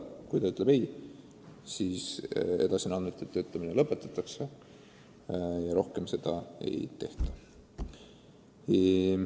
Kui ta ütleb ei, siis andmete töötlemine lõpetatakse ja rohkem abi ei pakuta.